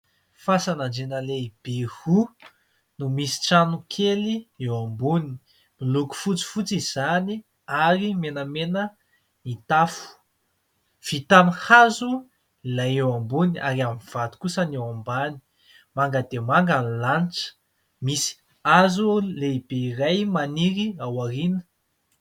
Fasan'Andriana lehibe roa no misy trano kely eo ambony. Miloko fotsifotsy izany ary menamena ny tafo. Vita amin'ny hazo ilay eo ambony ary amin'ny vato kosa ny eo ambany. Manga dia manga ny lanitra, misy hazo lehibe iray maniry ao aoriana.